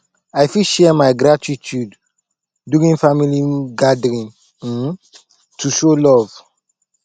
i fit share my gratitude during family gathering um to show love